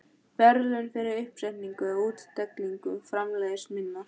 verðlaun fyrir uppsetningu og útstillingu framleiðslu minnar.